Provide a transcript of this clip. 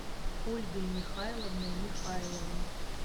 ольгой михайловной михайловой